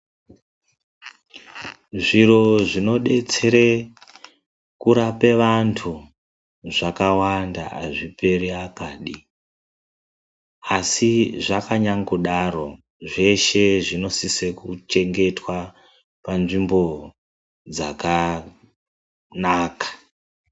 Zviro zvinodetsere kurapa vantu, zvakawanda hazviperi akadi. Asi zvakanyangodaro zveshe zvinosisa kuchengetwe panzvimbo dzakanaka.